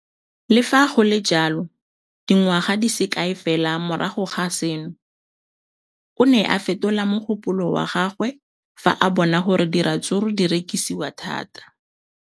Le fa go le jalo, dingwaga di se kae fela morago ga seno, o ne a fetola mogopolo wa gagwe fa a bona gore diratsuru di rekisiwa thata.